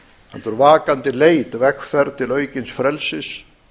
heldur vakandi leit vegferð til aukins frelsis